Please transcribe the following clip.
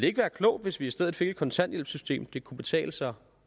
ikke være klogt hvis vi i stedet fik et kontanthjælpssystem det kunne betale sig